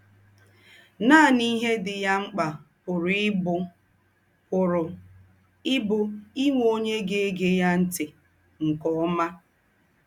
Nànì íhe dì ya m̀kpà pùrù íbù pùrù íbù ínwè ónyè gá-ègè ya ńtì nke ómà.